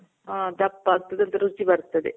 ಹಾ ದಪ್ಪ ಆಗ್ತದೆ ಅದು ರುಚಿ ಬರ್ತದೆ.